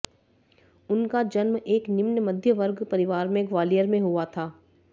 उनका जन्म एक निम्न मध्यमवर्ग परिवार में ग्वालियर में हुआ था